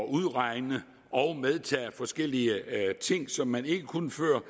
at udregne og medtage forskellige ting som man ikke kunne før